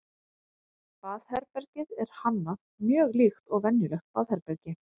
baðherbergið er hannað mjög líkt og venjulegt baðherbergi